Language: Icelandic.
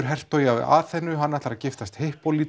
hertogi af Aþenu ætlar að giftast